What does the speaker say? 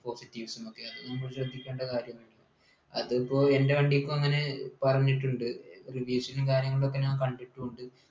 positives ഉം ഒക്കെ അത് നമ്മൾ ശ്രദ്ധിക്കേണ്ട കാര്യൊന്നും ഇല്ല അതിപ്പോ എൻ്റെ വണ്ടിക്കും അങ്ങനെ പറഞ്ഞിട്ടുണ്ട് reviews ഉം കാര്യങ്ങളൊക്കെ ഞാൻ കണ്ടിട്ടുണ്ട്